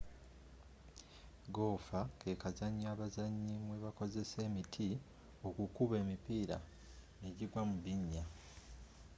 goofa kekazanyo abazanyi mwebakozesa emiti okukuba emipiira nejigwa mu binnya